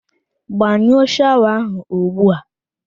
Gbanyụọ shawa ahụ ugbu a!